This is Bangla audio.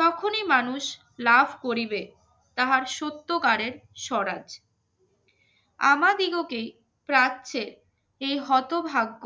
তখনই মানুষ লাভ করিবে তাহার সত্যকারের স্বরাজ আমাদিগকেই প্রাচ্যের এই হতভাগ্য